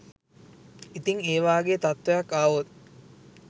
ඉතින් ඒ වාගේ තත්ත්වයක් ආවොත්